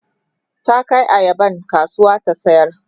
ta Kai ayaban kasuwa ta sayar